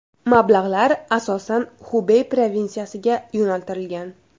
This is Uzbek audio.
Mablag‘lar asosan Xubey provinsiyasiga yo‘naltirilgan.